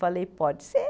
Falei, pode ser.